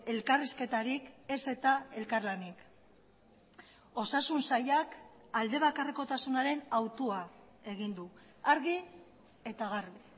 elkarrizketarik ez eta elkarlanik osasun sailak alde bakarrekotasunaren hautua egin du argi eta garbi